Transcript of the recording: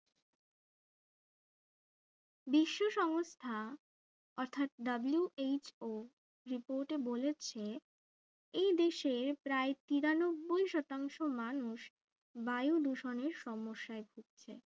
বিশ্ব সংস্থা অর্থাৎ WHOreport এ বলেছে এই বিশ্বে প্রায় তিরানব্বী শতাংশ মানুষ বায়ু দূষণের সমস্যায় ভুগছেন